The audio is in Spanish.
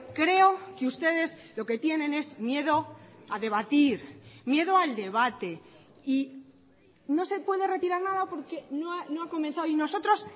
creo que ustedes lo que tienen es miedo a debatir miedo al debate y no se puede retirar nada porque no ha comenzado y nosotros